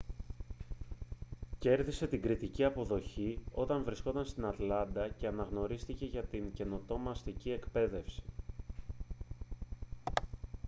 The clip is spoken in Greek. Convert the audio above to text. κέρδισε την κριτική αποδοχή όταν βρισκόταν στην ατλάντα και αναγνωρίστηκε για την καινοτόμα αστική εκπαίδευση